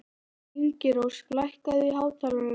Ingirós, lækkaðu í hátalaranum.